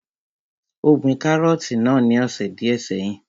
Ó gbin kárọ̀tì náà ní ọ̀sẹ̀ díẹ́ sẹ́yìn.